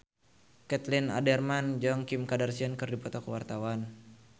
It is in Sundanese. Caitlin Halderman jeung Kim Kardashian keur dipoto ku wartawan